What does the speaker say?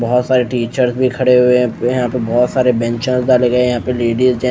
बहुत सारी टीचर भी खड़े हुए हैं यहां पे बहुत सारे बेंचे डाले गए हैं यहां पे लेडीज हैं।